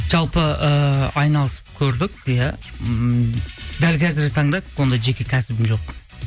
жалпы ыыы айналысып көрдік иә ммм дәл қазіргі таңда ондай жеке кәсібім жоқ